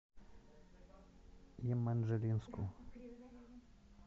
еманжелинску